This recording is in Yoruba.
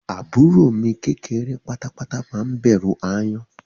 Àbúrò mi kékeré pátápátá má ń bẹ̀rù ááyán